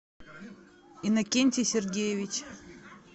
иннокентий сергеевич